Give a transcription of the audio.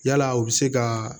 Yalaa u bɛ se ka